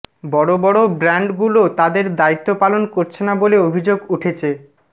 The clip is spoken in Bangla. বড় বড় ব্রান্ডগুলো তাদের দায়িত্ব পালন করছে না বলে অভিযোগ উঠেছে